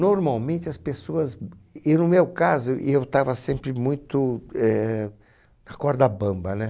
Normalmente as pessoas, e no meu caso, eu estava sempre muito, eh, na corda bamba, né?